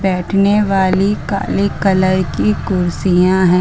बैठने वाली काले कलर की कुर्सियां हैं।